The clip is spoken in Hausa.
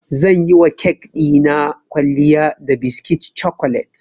Zan yiwa kek ɗina kwalliya da biskit cokolet.